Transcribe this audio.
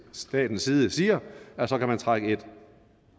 statens side siger at så kan man trække en